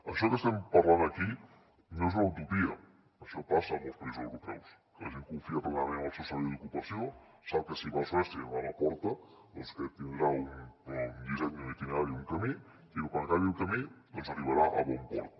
això que estem parlant aquí no és una utopia això passa a molts països europeus que la gent confia plenament en el seu servei d’ocupació sap que si va a suècia i va a la porta doncs que tindrà un disseny un itinerari un camí i que quan acabi el camí doncs arribarà a bon port